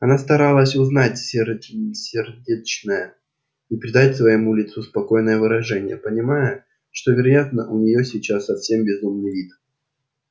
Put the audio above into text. она старалась унять сердцебиение и придать своему лицу спокойное выражение понимая что вероятно у нее сейчас совсем безумный вид